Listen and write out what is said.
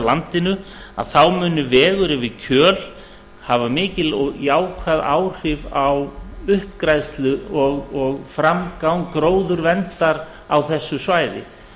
landinu muni vegur yfir kjöl hafa mikil og jákvæð áhrif á uppgræðslu og framgang gróðurverndar á þessu svæði